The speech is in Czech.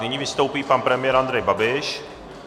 Nyní vystoupí pan premiér Andrej Babiš.